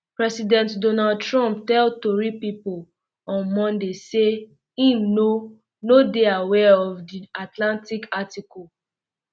president donald trump tell tori pipo on monday um say im no no dey aware of di atlantic article um